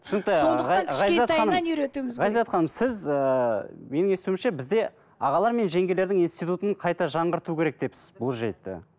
ғазизат ханым сіз ыыы менің естуімше бізде ағалар мен жеңгелердің институтын қайта жаңғырту керек депсіз